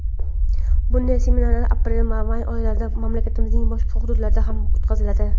Bunday seminarlar aprel va may oylarida mamlakatimizning boshqa hududlarida ham o‘tkaziladi.